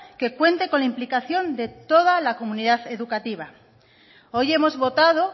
que cuente con la aplicación de toda la comunidad educativa hoy hemos votado